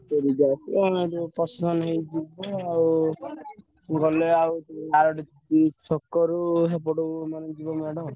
ସେ DJ ଆସିବ ଆଉ ଆମେ ସେଠୀ procession ହେଇ ଯିବୁ ଆଉ। ଗଲେ ଆଉ ଆଉଗୋଟେ ମାନେ ଆରଡି ଛକରୁ ସେପଟେ ଯିବ ମେଢ ଆଉ।